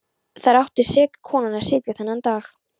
Þar átti seka konan að sitja þennan dag.